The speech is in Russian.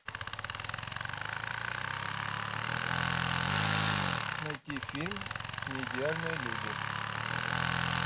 найти фильм неидеальные люди